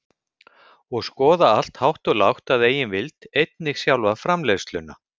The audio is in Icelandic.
og skoða allt hátt og lágt að eigin vild, einnig sjálfa framleiðsluna.